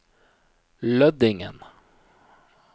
Lødingen